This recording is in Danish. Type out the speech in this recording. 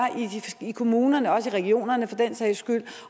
i kommunerne også i regionerne for den sags skyld